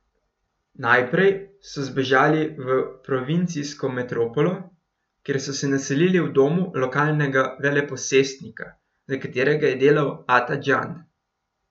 Najprej so zbežali v provincijsko metropolo, kjer so se naselili v domu lokalnega veleposestnika, za katerega je delal Ata Džan.